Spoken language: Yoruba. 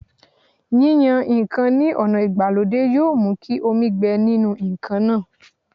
Yíyan ǹkan ní ọ̀nà ìgbàlódé yóò mú kí omi gbẹ nínú ǹkan náà